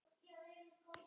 Strangur dómur eða hvað?